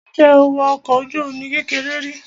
Ǹjẹ́ o wọ ọkọ̀ ojú-omi kékeré rí?